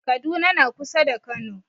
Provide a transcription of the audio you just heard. Kaduna na kusa da kano